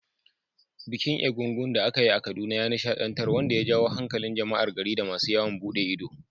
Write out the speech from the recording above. Bikin egúngún da aka yi a Kaduna ya nishaɗantar, wanda ya jawo hankalin jama’ar gari da masu yawon bude ido.